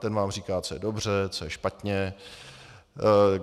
Ten vám říká, co je dobře, co je špatně.